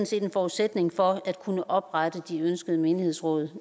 set en forudsætning for at kunne oprette de ønskede menighedsråd